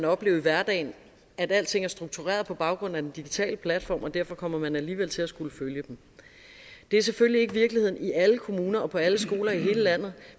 opleve i hverdagen at alting er struktureret på baggrund af den digitale platform og derfor kommer man alligevel til at skulle følge dem det er selvfølgelig ikke virkeligheden i alle kommuner og på alle skoler i hele landet